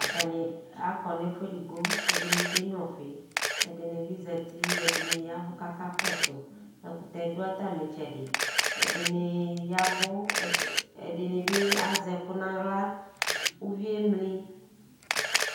Atani akɔnʋ ɛfu edigbo ɛdini kenyua ɔfi ɛdinibbi zati ɛdini ya ɛvʋ kʋ aka kɔsʋ ɛdkʋtɛ dʋ atami itsɛdi ɛdini ya ɛvʋ kʋ azɛ ɛkʋ nʋ aɣla ʋvi yɛ emli